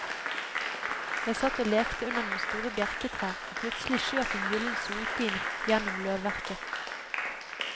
Jeg satt og lekte under noen store bjerketrær og plutselig skjøt en gylden solpil gjennom løvverket.